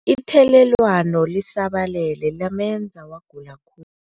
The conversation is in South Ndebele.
Ithelelwano lisabalele lamenza wagula khulu.